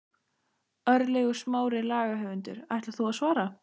Örlygur Smári, lagahöfundur: Ætlar þú að svara?